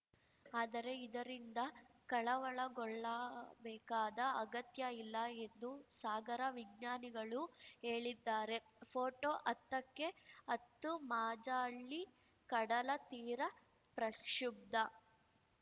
ಆದರೆ ಇದರಿಂದ ಕಳವಳಗೊಳ್ಳಬೇಕಾದ ಅಗತ್ಯ ಇಲ್ಲ ಎಂದು ಸಾಗರ ವಿಜ್ಞಾನಿಗಳು ಹೇಳಿದ್ದಾರೆ ಫೋಟೋ ಹತ್ತ ಕ್ಕೆ ಹತ್ತು ಮಾಜಾಳಿ ಕಡಲತೀರ ಪ್ರಕ್ಷುಬ್ಧ